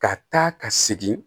Ka taa ka segin